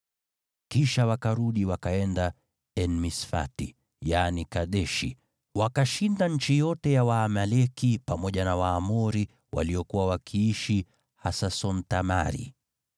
Kisha wakarudi wakaenda En-Misfati (yaani Kadeshi), wakashinda nchi yote ya Waamaleki, pamoja na Waamori waliokuwa wakiishi Hasason-Tamari.